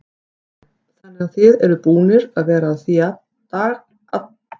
Kristján: Þannig að þið eruð búnir að vera að því hvað í allan dag?